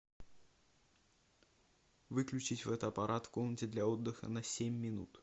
выключить фотоаппарат в комнате для отдыха на семь минут